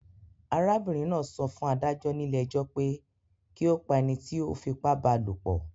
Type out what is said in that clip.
Arábìrin náà so fún adájó nílé ejó pe ki o pa enití o fipá ba lòpò